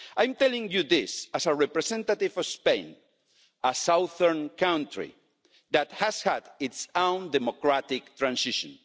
I am telling you this as a representative for Spain, a southern country that has had its own democratic transition.